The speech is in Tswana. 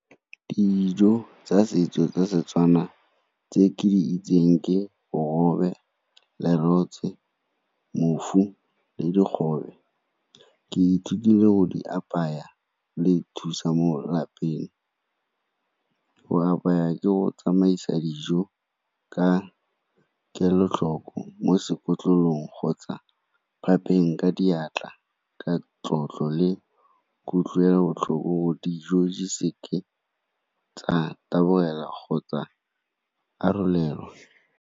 Dijo tsa setso tsa Setswana tse ke di itseng ke bogobe, lerotse, le dikgobe. Ke ithutile go di apaya le thusa mo lapeng. Go apaya ke go tsamaisa dijo ka kelotlhoko mo sekotlolong kgotsa ka diatla ka tlotlo le kutlwelobotlhoko dijo di seke tsa tabogela kgotsa arolelwa.